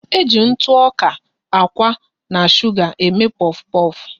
E ji ntụ ọka, akwa na suga eme pofu pofu